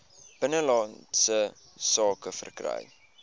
binnelandse sake verkry